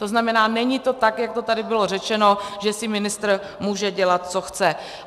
To znamená, není to tak, jak to tady bylo řečeno, že si ministr může dělat, co chce.